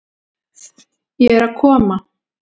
Ég er að koma.